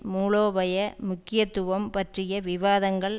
மூலோபய முக்கியத்துவம் பற்றிய விவாதங்கள்